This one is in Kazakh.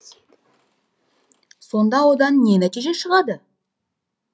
сонда одан не нәтиже шығады